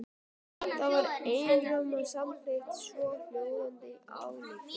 Þar var einróma samþykkt svohljóðandi ályktun